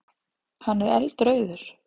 Hann er eldrauður.